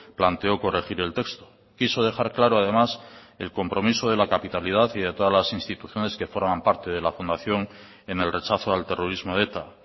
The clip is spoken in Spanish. planteó corregir el texto quiso dejar claro además el compromiso de la capitalidad y de todas las instituciones que forman parte de la fundación en el rechazo al terrorismo de eta